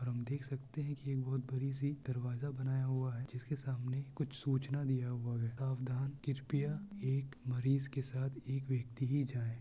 और हम देख सकते है कि ये बहुत बड़ी सी दरवाजा बनाया हुआ है जिसके सामने कुछ सूचना दिया हुआ है सावधान कृपया एक मरीज के साथ एक व्यक्ति ही जाए ।